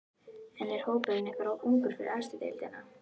En er hópurinn ykkar of ungur fyrir efstu deildina?